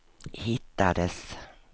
hittades